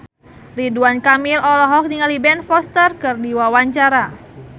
Ridwan Kamil olohok ningali Ben Foster keur diwawancara